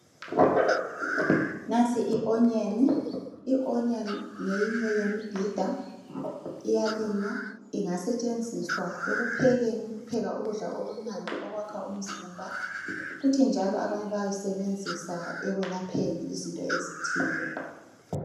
Nansi i"onion", i"onion" ngeyinye yemibhida, iyalinywa ingasetshenziswa ekuphekeni ukupheka ukudla okumnandi okwakha umzimba kuthi njalo abanye bayayisebenzisa ekwelapheni izinto ezithile.